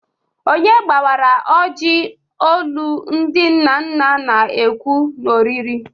Onye gbawara ojii, olu ndị nna nna na-ekwu na oriri?